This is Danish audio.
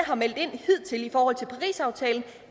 har meldt ud i forhold til parisaftalen